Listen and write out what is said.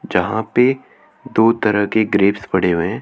जहां पे दो तरह के ग्रेप्स पड़े हुए है।